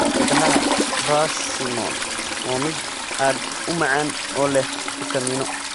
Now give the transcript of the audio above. Midhaha persimmon waa mid aad u macaan oo leh fitamiinno.